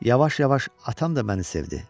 Yavaş-yavaş atam da məni sevdi.